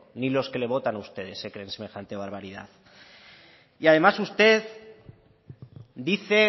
ni los que les votan a ustedes se creen semejante barbaridad y además usted dice